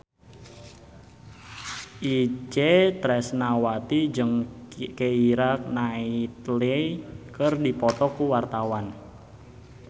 Itje Tresnawati jeung Keira Knightley keur dipoto ku wartawan